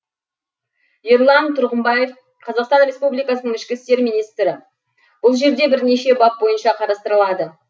ерлан тұрғымбаев қазақстан республикасының ішкі істер министр бұл жерде бірнеше бап бойынша қарастырылады